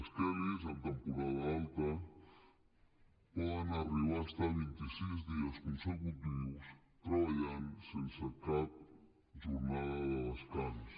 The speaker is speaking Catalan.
les kellys en temporada alta poden arribar a estar vint i sis dies consecutius treballant sense cap jornada de descans